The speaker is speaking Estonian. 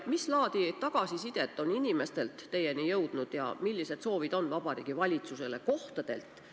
Mis laadi tagasisidet on inimestelt teieni jõudnud ja millised kohalike inimeste soovid on Vabariigi Valitsuseni jõudnud?